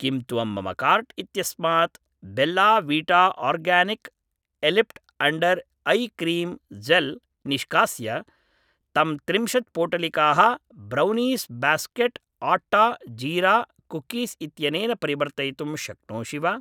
किं त्वं मम काार्ट् इत्यस्मात् Bella Vita organic eyelift under eye cream gel निष्कास्य तं त्रिंशत् पोटलिकाः brownies basket atta jeera cookies इत्यनेन परिवर्तयितुं शक्नोषि वा